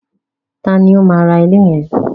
Taàní ó máa ra ilé yẹn?